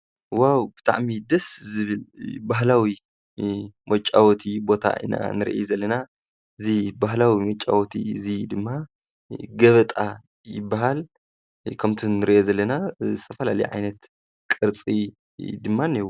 ዋው ብጣዕሚ ደስ ዝብል ባህላዊ መጫወቲ ቦታ ኢና ንርኢ ዘለና፤ እዚ ባህላዊ መጫወቲ እዚ ድማ ገበጣ ይብሃል፤ ከምቲ ንርእዮ ዘለና ዝተፈላለዩ ዓይነት ቅርጺ ድማ እንኤዎ።